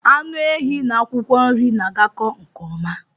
Anụ ehi n'akwụkwọ nri na-agako nke ọma